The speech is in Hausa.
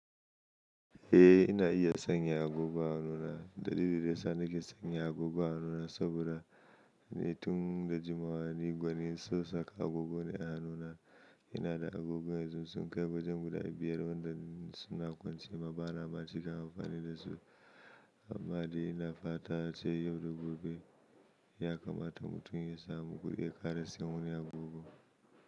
Eh ina iya sanya agogo a hannuna. Dalili dayasa nake sanya agogo a hannuna saboda ni tun da jimawa ni gwanin son saka agogo ne a hannuna. Ina da agogo yanzu sun kai wajen guda biyar wanda suna kwance ma bana ma cika amfani da su. Amma dai ina fata ace yau da gobe ya kamata mutum ya samu kudi ya kara sayen wani agogo.